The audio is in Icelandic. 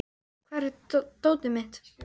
Ósk, hvar er dótið mitt?